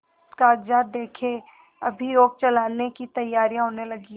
कागजात देखें अभियोग चलाने की तैयारियॉँ होने लगीं